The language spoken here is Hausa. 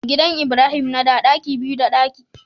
Gidan ibrahim nada ɗaki biyu da banɗaki daya